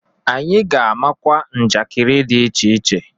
Anyị ga-amakwa njakiri dị iche iche.